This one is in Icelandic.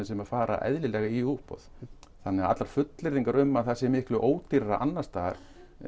sem fara í útboð þannig að allar fullyrðingar um að það sé miklu ódýrara annars staðar